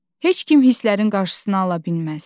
Heç kim hisslərin qarşısını ala bilməz.